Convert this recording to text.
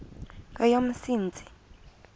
kweyomsintsi